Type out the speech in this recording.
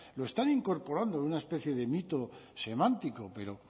lo están incorporando de una especie de mito semántico pero